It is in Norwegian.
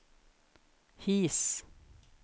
His